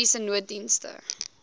mediese nooddienste